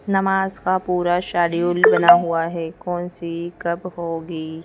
नमाज का पूरा शेड्यूल बना हुआ है कौन सी कब होगी।